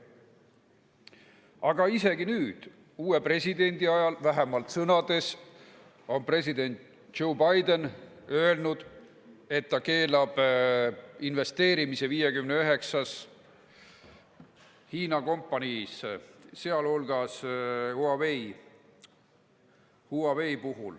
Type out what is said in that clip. Aga isegi nüüd, uue presidendi ajal – vähemalt sõnades on president Joe Biden öelnud, et ta keelab investeerimise 59 Hiina kompaniisse, sh Huaweisse.